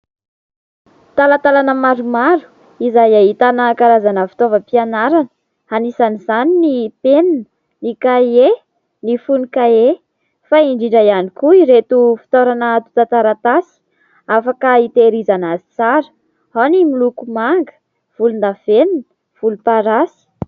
Talantalana maromaro izay ahitana karazana fitaovam-pianarana : anisan'izany ny penina, ny kahie, ny fonon- kahie ; fa indrindra ihany koa ireto fitoerana atotan-taratasy, afaka itehirizana azy tsara : ao ny miloko manga, volondavenona, volomparasy.